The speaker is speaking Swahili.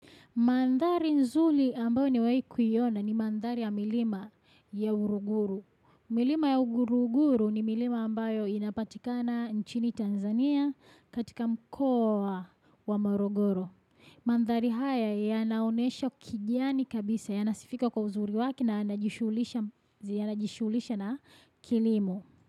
Mandhari nzuri ambayo nimewai kuiona ni mandhari ya milima ya Uruguru. Milima ya Uruguru ni milima ambayo inapatikana nchini Tanzania katika mkoa wa Maruguru. Mandhari haya yanaonesha kijani kabisa yanasifika kwa uzuri wake na yanajisuhulisha yanajishughulisha na kilimo.